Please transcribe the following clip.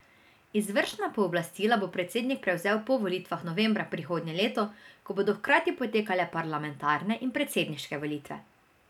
Izvršna pooblastila bo predsednik prevzel po volitvah novembra prihodnje leto, ko bodo hkrati potekale parlamentarne in predsedniške volitve.